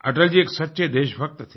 अटल जी एक सच्चे देशभक्त थे